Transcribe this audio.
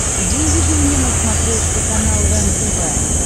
выведи мне на смотрешке канал рентв